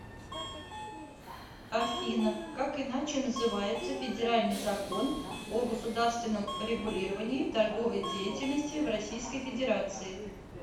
афина как иначе называется федеральный закон о государственном регулировании торговой деятельности в российской федерации